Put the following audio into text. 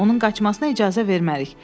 onun qaçmasına icazə vermərik.